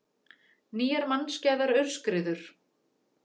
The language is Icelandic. Nýjar mannskæðar aurskriður